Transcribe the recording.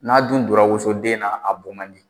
N'a dun donna wosoden na a bɔ man di